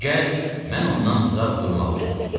Di gəl, mən ondan uzaq durmağı üstün tuturam.